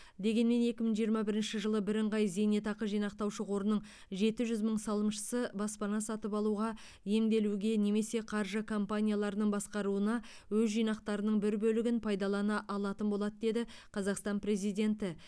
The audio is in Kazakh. дегенмен екі мың жиырма бірінші жылы бірыңғай зейнетақы жинақтаушы қорының жеті жүз мың салымшысы баспана сатып алуға емделуге немесе қаржы компанияларының басқаруына өз жинақтарының бір бөлігін пайдалана алатын болады деді қазақстан президенті